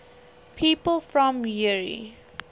people from eure